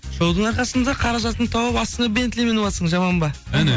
шоудың арқасында қаражатыңды тауып астыңа бентли мініватсың жаман ба әне